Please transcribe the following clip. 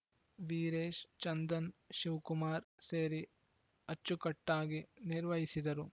ವೀರೇಶ್‌ ಚಂದನ್‌ ಶಿವಕುಮಾರ್‌ ಸೇರಿ ಅಚ್ಚುಕಟ್ಟಾಗಿ ನಿರ್ವಹಿಸಿದರು